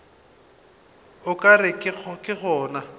o ka re ke gona